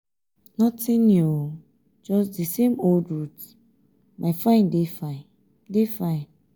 nothing new just di same old route my fine dey fine dey fine.